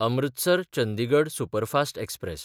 अमृतसर–चंदिगड superfast express